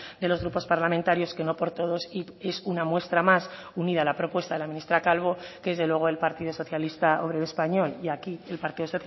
de los grupos parlamentarios que no por todos y es una muestra más unida a la propuesta de la ministra calvo que desde luego el partido socialista obrero español y aquí el partido